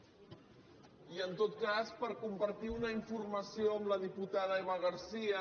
i en tot cas per compartir una informació amb la diputada eva garcía